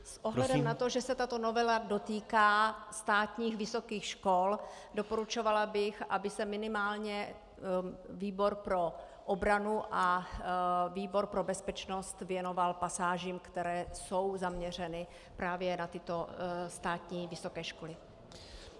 S ohledem na to, že se tato novela dotýká státních vysokých škol, doporučovala bych, aby se minimálně výbor pro obranu a výbor pro bezpečnost věnoval pasážím, které jsou zaměřeny právě na tyto státní vysoké školy.